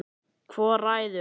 Hvor ræður?